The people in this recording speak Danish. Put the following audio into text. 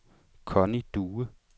Connie Due